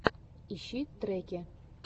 ищи треки